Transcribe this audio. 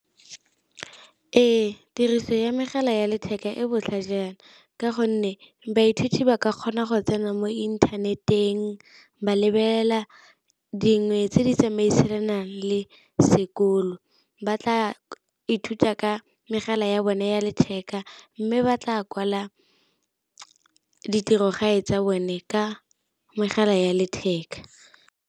Ee, tiriso ya megala ya letheka e botlhajana ka gonne baithuti ba ka kgona go tsena mo inthaneteng, ba lebelela dingwe tse di tsamaisanang le le sekolo, ba tla ithuta ka megala ya bone ya letheka mme ba tla kwala di tirogae tsa bone ka megala ya letheka.